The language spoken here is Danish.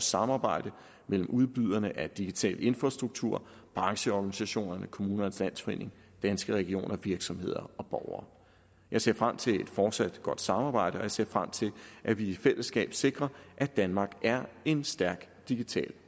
samarbejdet mellem udbyderne af digital infrastruktur brancheorganisationerne kommunernes landsforening danske regioner virksomheder og borgere jeg ser frem til et fortsat godt samarbejde og jeg ser frem til at vi i fællesskab sikrer at danmark er en stærk digital